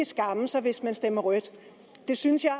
skamme sig hvis man stemmer rødt det synes jeg